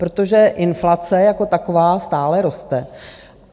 Protože inflace, jako taková, stále roste.